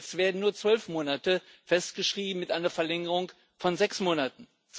Jetzt werden nur 12 Monate festgeschrieben, mit einer Verlängerung von 6 Monaten.